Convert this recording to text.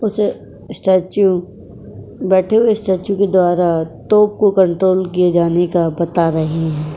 इस स्टैचू बैठे हुए स्टैचू के द्वारा तोप को कंट्रोल किए जाने का बता रहे हैं।